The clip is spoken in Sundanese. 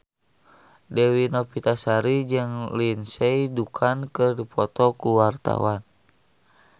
Dewi Novitasari jeung Lindsay Ducan keur dipoto ku wartawan